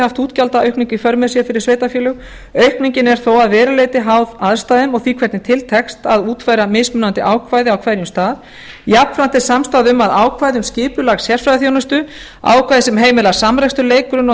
haft útgjaldaaukningu í för með sér fyrir sveitarfélög aukningin er þó að verulegu leyti háð aðstæðum og því hvernig til tekst að útfæra mismunandi ákvæði á hverjum stað jafnframt er samstaða um að ákvæði um skipulag sérfræðiþjónustu ákvæði sem heimila samrekstur leik grunn og